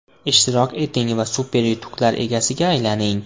Ishtirok eting va super yutuqlar egasiga aylaning!